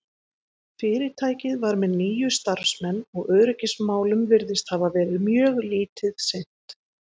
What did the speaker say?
fyrirtækið var með níu starfsmenn og öryggismálum virðist hafa verið mjög lítið sinnt